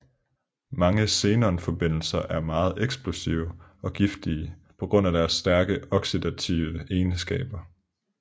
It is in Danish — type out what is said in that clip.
Mange xenon forbindelser er meget eksplosive og giftige på grund af dets stærke oxidative egenskaber